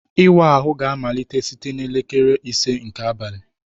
Ịwa ahụ ga-amalite site na elekere ise nke abalị